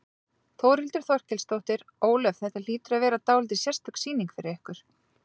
Þórhildur Þorkelsdóttir: Ólöf, þetta hlýtur að vera dálítið sérstök sýning fyrir ykkur?